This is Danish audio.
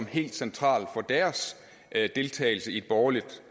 helt centralt for deres deltagelse i et borgerligt